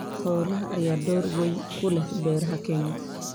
Xoolaha ayaa door weyn ku leh beeraha Kenya.